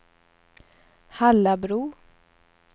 Hallabro